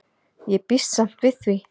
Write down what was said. Ég býst samt við því.